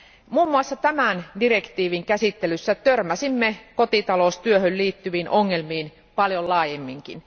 Muun muassa tämän direktiivin käsittelyssä törmäsimme kotitaloustyöhön liittyviin ongelmiin paljon laajemminkin.